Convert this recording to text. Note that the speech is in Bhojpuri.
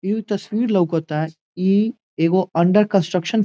ई तस्वीर लउकता ई एगो अंडर कंस्ट्रक्शन --